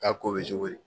K'a ko bɛ cogo di